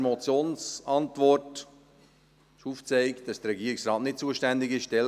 In der Motionsantwort wird aufgezeigt, dass der Regierungsrat nicht zuständig ist.